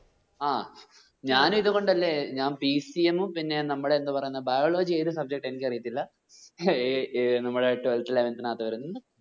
ആ ഞാൻ ഇതുകൊണ്ടല്ലെ ഞാൻ pcm ഉം പിന്നെ നമ്മടെ എന്ത പറയുന്നേ biology ഏത് subject ആ എനിക്ക് അറിയത്തില്ല നമ്മുടെ twelfth eleventh നാത്ത് വരുന്നത്